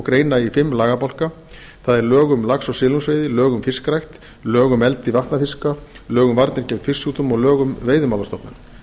greina í fimm lagabálka það er lög um lax og silungsveiði lög um fiskrækt lög um eldi vatnafiska lög um varnir gegn fisksjúkdómum og lög um veiðimálastofnun